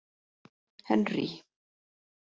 Henrý